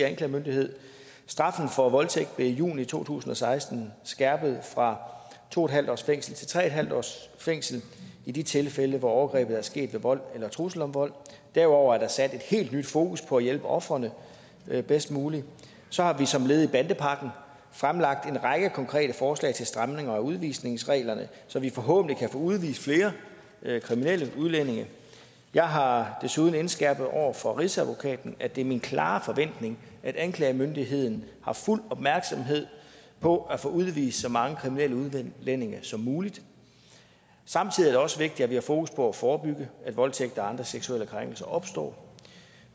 anklagemyndighed straffen for voldtægt blev i juni to tusind og seksten skærpet fra to en halv års fængsel til tre en halv års fængsel i de tilfælde hvor overgrebet er sket ved vold eller trussel om vold derudover er der sat et helt nyt fokus på at hjælpe ofrene bedst muligt så har vi som led i bandepakken fremlagt en række konkrete forslag til stramninger af udvisningsreglerne så vi forhåbentlig kan få udvist flere kriminelle udlændinge jeg har desuden indskærpet over for rigsadvokaten at det er min klare forventning at anklagemyndigheden har fuld opmærksomhed på at få udvist så mange kriminelle udlændinge som muligt samtidig er det også vigtigt at vi har fokus på at forebygge at voldtægt og andre seksuelle krænkelser opstår